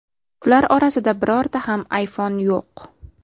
Ular orasida birorta ham iPhone yo‘q.